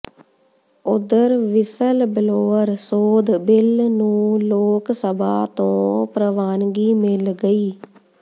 ਉਧਰ whistle blower ਸੋਧ bill ਨੂੰ ਲੋਕ ਸਭਾ ਤੋਂ ਪ੍ਰਵਾਨਗੀ ਮਿਲ ਗਈ